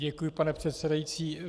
Děkuji, pane předsedající.